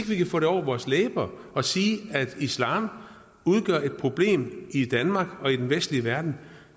vi kan få over vores læber at sige at islam udgør et problem i danmark og i den vestlige verden